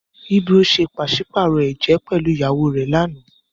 Ibro ṣe paṣipaarọ ẹjẹ pẹlu ìyàwó rẹ lànà.